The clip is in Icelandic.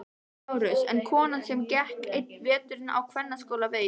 LÁRUS: En konan sem gekk einn vetur á kvennaskóla veit.